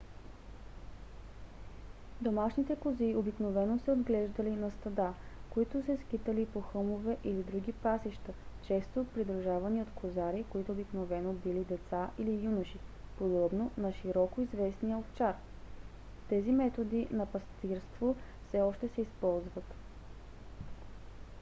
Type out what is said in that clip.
домашните кози обикновено се отглеждали на стада които се скитали по хълмове или други пасища често придружавани от козари които обикновено били деца или юноши подобно на по-широко известния овчар. тези методи на пастирство все още се използват